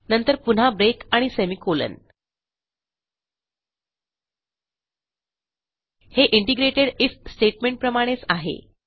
नंतर पुन्हा ब्रेक आणि सेमी कोलन हे इंटिग्रेटेड आयएफ स्टेटमेंटप्रमाणेच आहे